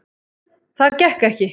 Það gekk ekki